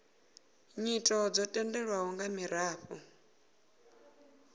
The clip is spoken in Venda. nyito dzo tendelwaho nga miraḓo